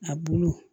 A bulu